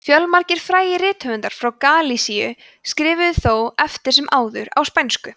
fjölmargir frægir rithöfundar frá galisíu skrifuðu þó eftir sem áður á spænsku